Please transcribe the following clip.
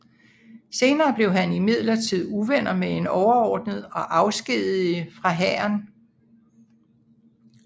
Senere blev han imidlertid uvenner med en overordnet og afskediget fra hæren